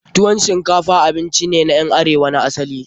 Tuwon shinkafa abinci ne na ƴan arewa na asali.